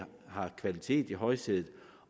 har kvaliteten i højsædet